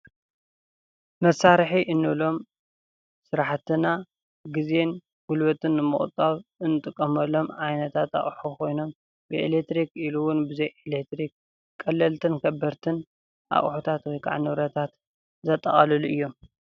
መሳርሒ እንብሎም ስራሕትና ግዜን ጉልበትን ንምቁጣብ እንጥቀመሎም ዓይነታት ኣቅሑ ኮይኖም ብኤሌትሪክ ኢሉ እውን ብዘይኤሌትሪክ ቀለልትን ከበድትን ኣቑሑታት ወይ ክዓ ንብረታት ዘጠቃልሉ እዮም፡፡